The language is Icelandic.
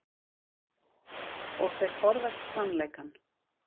Og þeir forðast sannleikann.